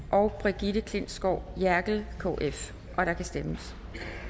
og brigitte klintskov jerkel og der kan stemmes